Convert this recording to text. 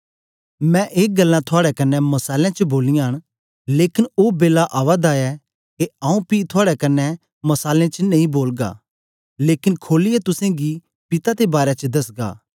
मैं ए गल्लां थुआड़े कन्ने मसालें च बोलियां न लेकन ओ बेला आवा दा ऐ के आऊँ पी थुआड़े कन्ने मसालें च नेई बोलगा लेकन खोलियै तुसेंगी पिता दे बारै च दसगा